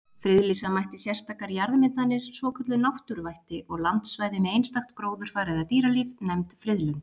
Friðlýsa mætti sérstakar jarðmyndanir, svokölluð náttúruvætti, og landsvæði með einstakt gróðurfar eða dýralíf, nefnd friðlönd.